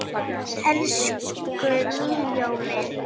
Elsku Míó minn